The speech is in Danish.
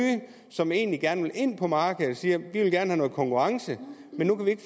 som egentlig gerne ville ind på markedet siger vi ville gerne have noget konkurrence men nu kan